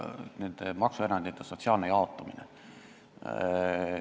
See on see maksuerandite sotsiaalne jaotumine.